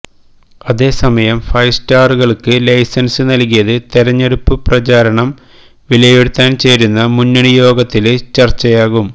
അതേ സമയം ഫൈവ് സ്റ്റാറുകള്ക്ക് ലൈസന്സ് നല്കിയത് തെരഞ്ഞെടുപ്പ് പ്രചാരണം വിലയിരുത്താന് ചേരുന്ന മുന്നണി യോഗത്തില് ചര്ച്ചയാകും